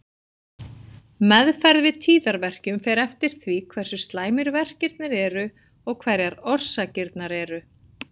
Meðferð við tíðaverkjum fer eftir því hversu slæmir verkirnir eru og hverjar orsakirnar eru.